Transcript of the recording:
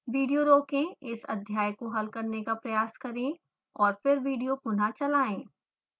video रोकें इस अध्याय को हल करने का प्रयास करें और फिर विडियो पुनः चलाएं